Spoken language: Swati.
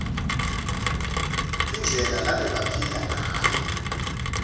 indlela lebabephila ngayo